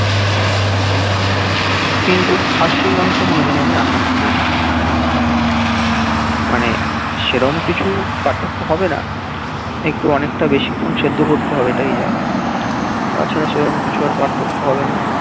কিন্তু খাসির মাংস কোনদিন আমি রান্না করিনি মানে সেইরকম কিছু পারথক্য হবে না একটু অনেকটা বেসিখন শেদ্দ করতে হবে এই যা তাছাড়া সেইরকম কিছু আর পারথক্ক্য হবে না